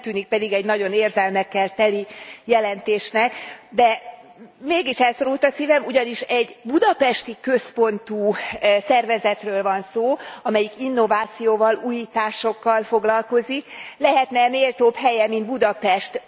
Nem tűnik pedig egy nagyon érzelmekkel teli jelentésnek, de mégis elszorult a szívem, ugyanis egy budapesti központú szervezetről van szó, amelyik innovációval, újításokkal foglalkozik, mi lehetne méltóbb helye, mint Budapest.